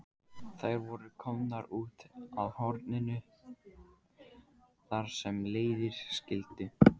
Þær voru komnar út að horninu þar sem leiðir skildu.